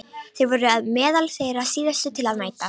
Þeir voru meðal þeirra síðustu til að mæta.